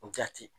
Jati